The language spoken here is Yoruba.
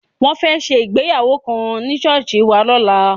Wọ́n fẹ́ ṣe ìgbéyàwó kan ní ṣọ́ọ̀ṣì wa lọ́la.